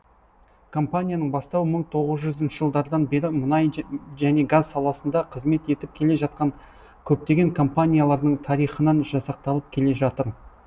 компанияның бастауы мың тоғыз жүзінші жылдардан бері мұнай және газ саласында қызмет етіп келе жатқан көптеген компаниялардың тарихынан жасақталып келе жатыр